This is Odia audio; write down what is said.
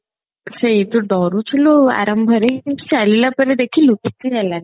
ସେଇ ତୁ ଡରୁଥିଲୁ ଆଉ ଆରମ୍ଭରେ ଚାଲିଲା ପରେ ଦେଖିଲୁ କିଛି ହେଲାନି